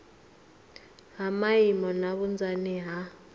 ha maimo na vhunzani ha